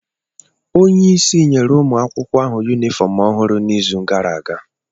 Onye isi nyere ụmụ akwụkwọ ahụ yunifọm ọhụrụ n'izu gara aga